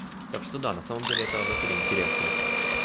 так что да на самом деле это в натуре интересно